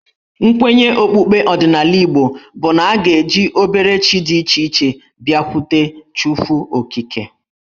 Nkwenye okpukpe ọdịnala Igbo bụ na a ga-eji obere chi dị iche iche abịakwute Chukwuokike.